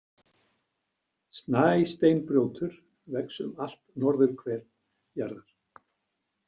Snæsteinbrjótur vex um allt norðurhvel jarðar.